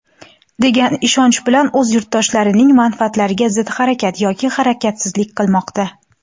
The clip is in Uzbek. degan ishonch bilan o‘z yurtdoshlarining manfaatlariga zid harakat (yoki harakatsizlik) qilmoqda.